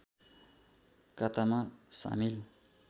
कातामा सामिल